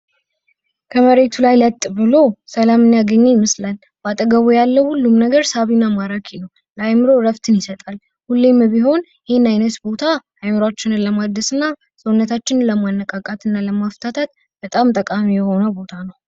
ከመሬቱ ላይ ለጥ ብሎ ሰላሙን ያገኘ ይመስላል። በአጠገቡ ላይ ለአእምሮ እረፍትን ይሰጣል። ሁሌም ቢሆን ይህን አይነት ቦታ አእምሮችን ለማደስ ፣ አእምሮችን ለማነቃቃት እና ለማፍታታት በጣው ጠቃሚ ቦታ ነው።